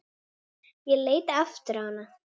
Ég leit aftur á hana.